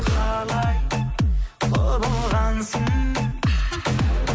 қалай құбылғансың